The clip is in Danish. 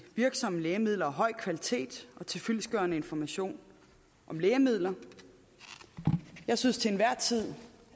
virksomme lægemidler af høj kvalitet og til fyldestgørende information om lægemidler jeg synes til enhver tid